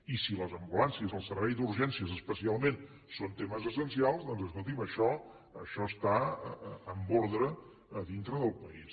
i si les ambulàncies el servei d’urgències especialment són temes essencials doncs escolti’m això està en ordre a dintre del país